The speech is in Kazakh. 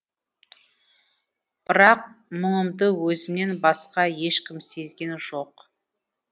бірақ мұңымды өзімнен басқа ешкім сезген жоқ